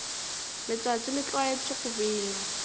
letšatši le tlwaetše go bina